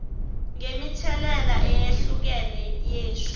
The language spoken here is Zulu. ngemithelela eyehlukene yesu